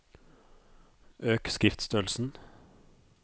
Øk skriftstørrelsen